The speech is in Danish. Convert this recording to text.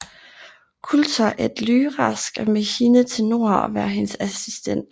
Coulter at Lyra skal med hende til nord og være hendes assistent